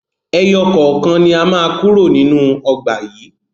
Ẹyọ kọ̀ọ̀kan ni a má kúrò nínú ọgbà yìí